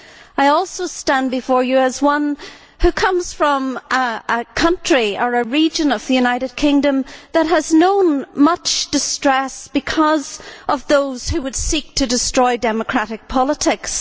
I also stand before you as one who comes from a country, or region, of the United Kingdom that has known much distress because of those who would seek to destroy democratic politics.